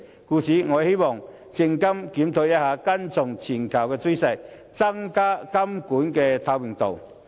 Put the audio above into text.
因此，我希望證監會檢討，跟從全球趨勢，增加監管的透明度。